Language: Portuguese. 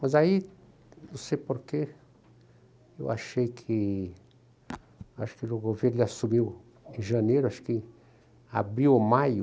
Mas aí, não sei porquê, eu achei que... Acho que o governo assumiu em janeiro, acho que abriu ou maio,